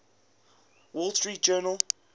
wall street journal